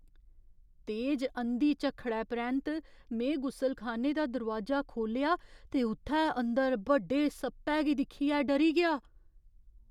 तेज अंधी झक्खड़ै परैंत्त, में गुसलखाने दा दरोआजा खोह्ल्लेआ ते उ'त्थै अंदर बड्डे सप्पै गी दिक्खियै डरी गेआ।